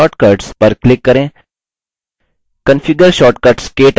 configure shortcuts – ktouch dialog box दिखता है